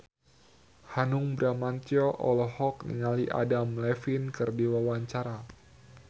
Hanung Bramantyo olohok ningali Adam Levine keur diwawancara